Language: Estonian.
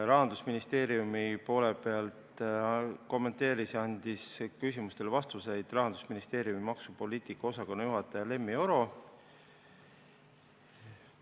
Rahandusministeeriumi poole pealt kommenteeris ja andis küsimustele vastuseid Rahandusministeeriumi maksupoliitika osakonna juhataja Lemmi Oro.